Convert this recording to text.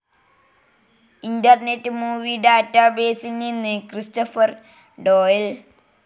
internet movie ഡാറ്റാബേസിൽ നിന്ന് Christopher ഡോയൽ